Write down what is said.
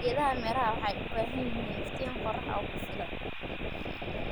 Geedaha miraha waxay u baahan yihiin iftiin qorrax oo ku filan.